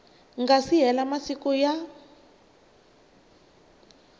nga si hela masiku ya